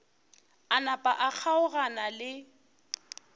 a napa a kgaogana le